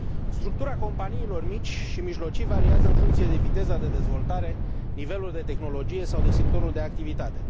Structura companiilor mici și mijlocii variază în funcție de viteza de dezvoltare, de nivelul de tehnologie sau de sectorul de activitate.